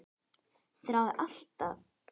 Þráði alltaf annað.